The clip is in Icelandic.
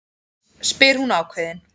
spyr hún ákveðin.